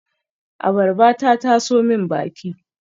Abarba ta taso min baki